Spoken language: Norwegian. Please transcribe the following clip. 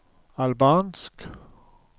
albansk